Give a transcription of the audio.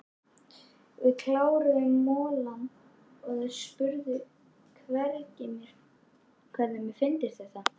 Við kláruðum molann og þeir spurðu hvernig mér fyndist þetta.